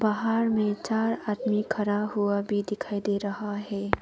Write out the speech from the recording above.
बाहर में चार आदमी खड़ा हुआ भी दिखाई दे रहा है।